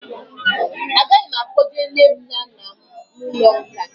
Agaghị m akpọje nne m na nna m n'ụlọ nkà